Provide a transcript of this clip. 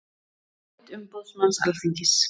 Álit umboðsmanns Alþingis